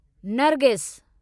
Nargis